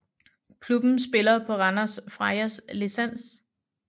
Klubben spiller på Randers Frejas licens